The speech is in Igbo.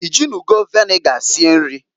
I jinugo viniga sie nri?